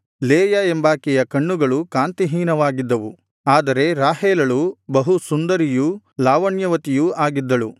Leah ಎಂಬಾಕೆಯ ಕಣ್ಣುಗಳು ಕಾಂತಿ ಹೀನವಾಗಿದ್ದವು ಆದರೆ ರಾಹೇಲಳು ಬಹು ಸುಂದರಿಯು ಲಾವಣ್ಯವತಿಯೂ ಆಗಿದ್ದಳು